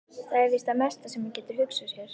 Það er víst það mesta sem hann getur hugsað sér.